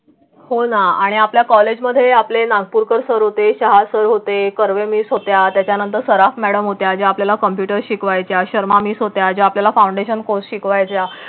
हो ना आणि आपल्या कॉलेजमध्ये आपले नागपूरकर सर्व ते सहासर होते. कर्वे मिस होत्या त्यानंतर सराफ मॅडम उद्या आपल्याला कॉम्प्युटर शिकवायच्या शर्मा मीस होत्या आहे. आपल्याला फाउंडेशन कोर्स शिकवायच्या.